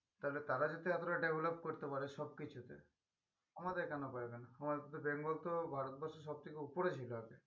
তালে তারা যদি এতটা develop করতে পারে সব কিছুতে আমাদের কেন পারবে না? আমাদের তো বেঙ্গল তো ভারতবর্ষের সব থেকে উপরে ছিল আগে